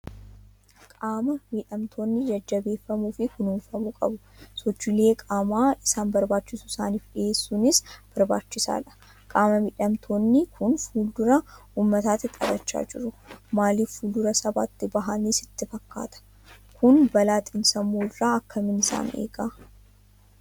Qaama miidhamtoonni jajjabeeffamuu fi kunuunfamuu qabu. Sochiilee qaamaa isaan barbaachisu isaaniif dhiheessuunis barbaachisaadha. Qaama miidhamtoonni kun fuuldura uummataatti taphachaa jiru. Maaliif fuuldura sabaatti bahaniiru sitti fakkaata? Kun balaa xiin-sammuu irraa akkamiin isaan eega?